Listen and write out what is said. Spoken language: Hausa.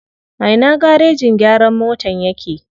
A ina garejin gyaran motan yake?